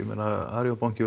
Arion banki